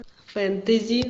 фэнтези